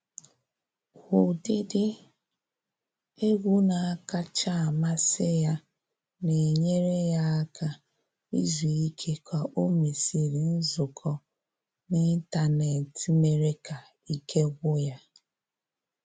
Ụdịdị egwu na-akacha amasị ya na enyere ya aka izu ike ka o mesịrị nzukọ n’ịntanetị mere ka ike gwụ ya